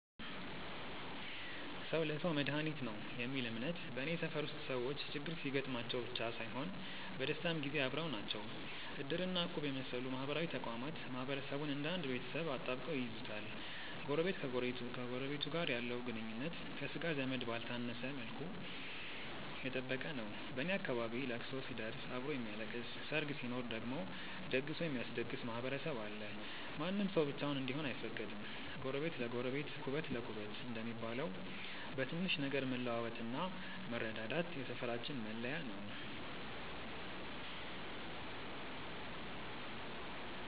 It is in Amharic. "ሰው ለሰው መድኃኒቱ ነው" የሚል እምነት በኔ ሰፈር ውስጥ ሰዎች ችግር ሲገጥማቸው ብቻ ሳይሆን በደስታም ጊዜ አብረው ናቸው። እድር እና እቁብ የመሰሉ ማህበራዊ ተቋማት ማህበረሰቡን እንደ አንድ ቤተሰብ አጣብቀው ይይዙታል። ጎረቤት ከጎረቤቱ ጋር ያለው ግንኙነት ከሥጋ ዘመድ ባልተነሰ መልኩ የጠበቀ ነው። በኔ አካባቢ ለቅሶ ሲደርስ አብሮ የሚያለቅስ፣ ሰርግ ሲኖር ደግሞ ደግሶ የሚያስደግስ ማህበረሰብ አለ። ማንም ሰው ብቻውን እንዲሆን አይፈቀድም። "ጎረቤት ለጎረቤት ኩበት ለኩበት" እንደሚባለው፣ በትንሽ ነገር መለዋወጥና መረዳዳት የሰፈራችን መለያ ነው።